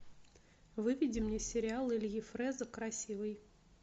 выведи мне сериал ильи фреза красивый